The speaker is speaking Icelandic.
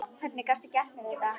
Hvernig gastu gert mér þetta?